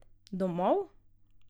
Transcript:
Domov?